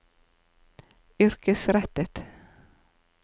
yrkesrettet